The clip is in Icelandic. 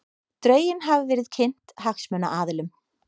Drögin hafa verið kynnt hagsmunaaðilum